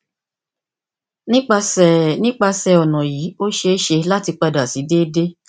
nipasẹ nipasẹ ọna yii o ṣee ṣe lati pada si deede